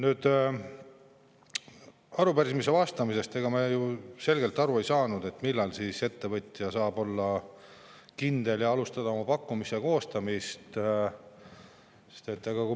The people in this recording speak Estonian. Ega me arupärimise vastustest ju selgelt aru ei saanud, millal siis ettevõtja saab olla kindel ja alustada pakkumise koostamist.